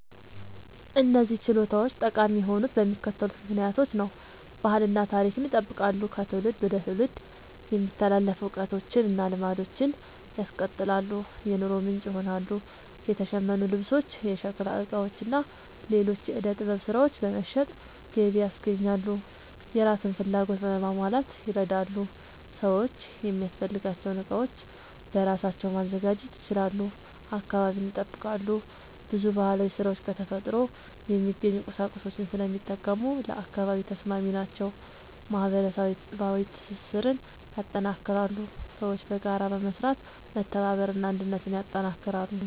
እነዚህ ችሎታዎች ጠቃሚ የሆኑት በሚከተሉት ምክንያቶች ነው፦ ባህልን እና ታሪክን ይጠብቃሉ – ከትውልድ ወደ ትውልድ የሚተላለፉ እውቀቶችን እና ልማዶችን ያስቀጥላሉ። የኑሮ ምንጭ ይሆናሉ – የተሸመኑ ልብሶች፣ የሸክላ ዕቃዎች እና ሌሎች የዕደ ጥበብ ሥራዎች በመሸጥ ገቢ ያስገኛሉ። የራስን ፍላጎት ለማሟላት ይረዳሉ – ሰዎች የሚያስፈልጋቸውን ዕቃዎች በራሳቸው ማዘጋጀት ይችላሉ። አካባቢን ይጠብቃሉ – ብዙ ባህላዊ ሥራዎች ከተፈጥሮ የሚገኙ ቁሳቁሶችን ስለሚጠቀሙ ለአካባቢ ተስማሚ ናቸው። ማህበረሰባዊ ትስስርን ያጠናክራሉ – ሰዎች በጋራ በመስራት መተባበርን እና አንድነትን ያጠናክራሉ።